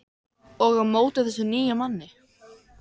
Og á móti þessum nýja manni.